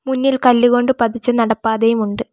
മുന്നിൽ കല്ലുകൊണ്ട് പതിച്ച നടപ്പാതയും ഉണ്ട്.